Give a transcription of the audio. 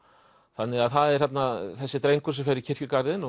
þannig að það er þarna þessi drengur sem fer í kirkjugarðinn